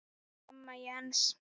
Amma Jens.